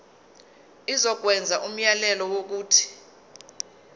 izokwenza umyalelo wokuthi